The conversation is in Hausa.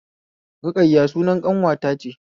Ruƙayya sunan ƙanwata ce